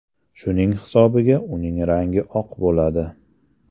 Shuning hisobiga uning rangi oq bo‘ladi.